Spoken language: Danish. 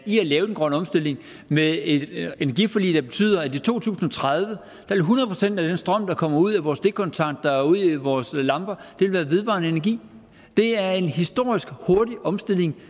i at lave den grønne omstilling med et energiforlig der betyder at i to tusind og tredive vil hundrede procent af den strøm der kommer ud af vores stikkontakter og ud i vores lamper være vedvarende energi det er en historisk hurtig omstilling